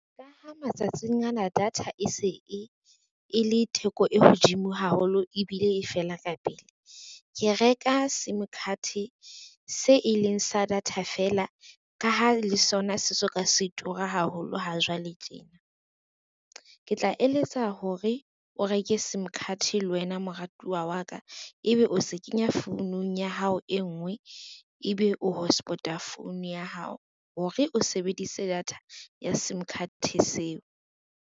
Ka ha matsatsing ana data e se e le theko e hodimo haholo ebile e fela ka pele, ke reka sim card se e leng sa data fela ka ha le sona se soka se tura haholo ha jwale tjena. Ke tla eletsa hore o reke sim card le wena moratuwa wa ka, ebe o se kenya founung ya hao e ngwe, ebe o hotspot-a phone ya hao hore, o sebedise data ya sim card seo.